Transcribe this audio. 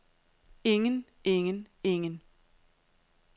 ingen ingen ingen